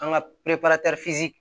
An ka perepere